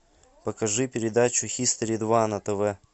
покажи передачу хистори два на тв